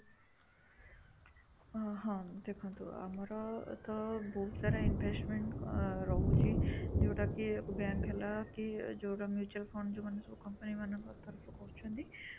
ହଁ, ଦେଖନ୍ତୁ ଆମର ତ ବହୁତ ସାରା investment ଆଁ ରହୁଛି ଯୋଉଁଟାକି bank ହେଲା କି ଯୋଉଁଟାକି mutual fund ଯୋଉମାନେ ସବୁ company ମାନଙ୍କ ତରଫରୁ କରୁଛନ୍ତି